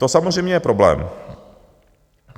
To samozřejmě je problém.